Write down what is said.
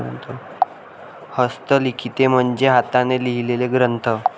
हस्तलिखिते म्हणजे हाताने लिहिलेले ग्रंथ.